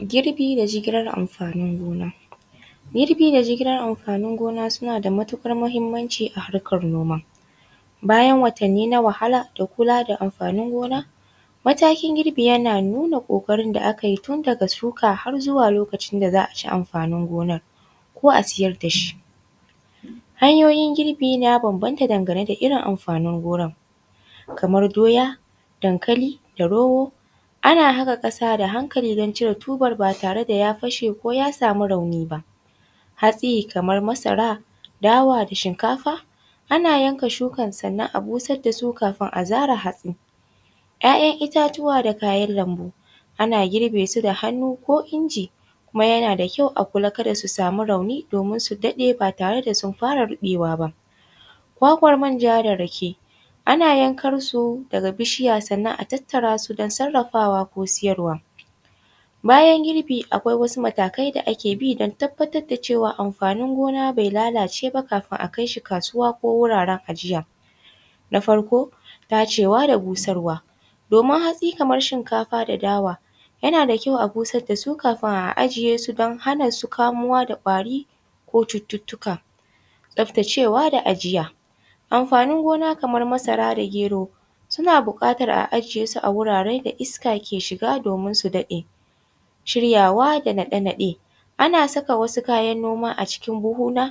Girbi da jigilar amfanin gona, girbi da jigilar amfanin gona suna da matukar muhimmanci a harkan noma bayan watanni na wahala da kula da amfanin gona, matakin girbi yana nuna kokarin da aka yi tun daga shuka har zuwa lokacin da za a ci amfanin gonar ko a siyar da shi, hanyoyin girbi ya banbanta dangane da irin amfanin gona kamar doya, dankali, da rogo, ana haka kasa da hankali don cire tuban ba tare da ya fashe ko ya samu rauni ba hatsi kamar masara, dawa da shinkafa ana yanka shukar sannan a busar da su kafin a zare hatsin ‘ya’tan itatuwa da kayan lambu ana girbe su da hannu ko inji kuma yana da kyau a kulla kada su sami rauni domin su daɗe ba tare da sun fara ruɓewa ba. Kwakwan manja da rake ana rankar su daga bishiya sannan a tattara su don sarafawa ko siyarwa, bayan girbi akwai wasu matakai da ake bi don tabbatar da cewa amfamin gona bai lalace ba kafin akai shi kasuwa ko wuraren ajiya, na farko dacewa da busarwa domin hatsi kamar shinkafa da dawa yana da kyau a busar da su kafin a ajiye su don hana su kamuwa da ƙwari ko cututtuka, taftacewa da ajiya amfanin gona kamar masara da gero suna bukatar a ajiye su a wuraren da iska ke shiga domin su daɗe, shiryawa da naɗa-naɗe, ana saka wasu kayan gona a buhuna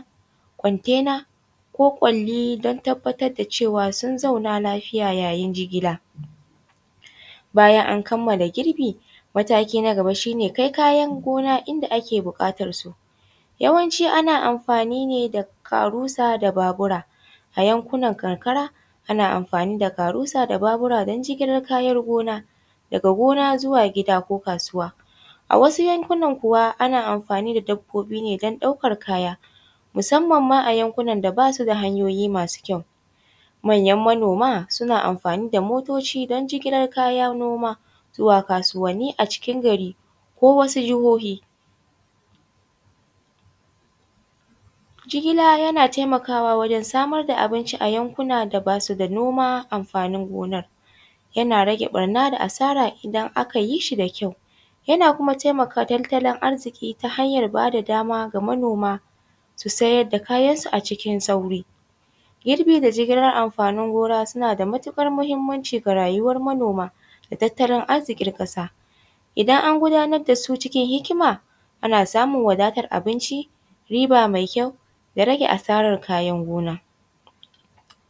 contenar ko ƙwali don tabbatar da cewa sun zauna lafiya yayin jigila, bayan an kamala girbi mataki na gaba shi ne kai kayan gona inda ake bukatar su, yawanci ana amfani ne da karusa da babura ayankunan karkara ana amfani da karusa da babura don jigilar kayan gona daga gona zuwa kasuwa, a wasu yankunan kuwa ana amfani da dabbobi ne don ɗaukan kaya musamman ma a yankunan da basu da hanyoyi masu kyau manyan manoma suna amfani da motoci don jigilar kayan noma zuwa kasuwan ni a cikin gari ko wasu jahohi, jigila yana taimakawa wajen samar da abinci a yankuna da basu da noma amfanin gonar yana rage barna da asara idan aka yi shi da kyau, yana kuma taimaka tattalin arziki ta hanyar bada dama ga manoma su siyar da kayansu a cikin sauri, girbi da jigilar amfanin gona suna da matukar muhimmanci ga rayuwar manoma da tattalin arzikin kasa idan an gudanar da su cikin hikima ana samun wadatar abinci riba mai kyau ya rake asarar kayan gona.